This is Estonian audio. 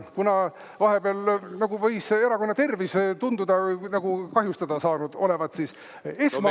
Kuna vahepeal võis erakonna tervis tunduda kahjustada saanud olevat, siis esmaabi.